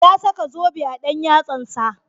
Ya saka zobe a dan yatsansa.